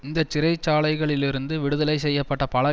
இந்த சிறைச்சாலைகளிலிருந்து விடுதலை செய்ய பட்ட பல